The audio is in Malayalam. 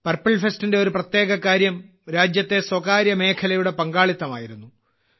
പർപ്പിൾ ഫെസ്റ്റിന്റെ ഒരു പ്രത്യേക കാര്യം രാജ്യത്തെ സ്വകാര്യ മേഖലയുടെ പങ്കാളിത്തമായിരുന്നു